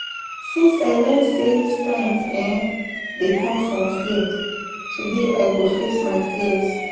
Since I learn sey strength um dey come from fear, today I go face my fears